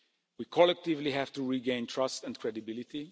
We collectively have to regain trust and credibility.